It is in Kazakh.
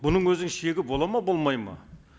бұның өзінің шегі болады ма болмайды ма